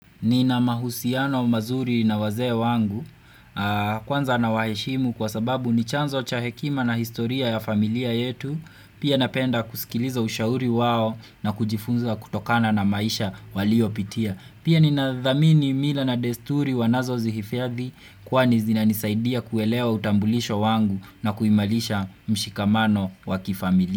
Nina mahusiano mazuri na wazee wangu. Kwanza nawaheshimu kwa sababu ni chanzo cha hekima na historia ya familia yetu, pia napenda kusikiliza ushauri wao na kujifunza kutokana na maisha waliyopitia. Pia ninadhamini mila na desturi wanazozihifadhi kwani zinanisaidia kuelewa utambulisho wangu, na kuimarisha mshikamano wakifamilia.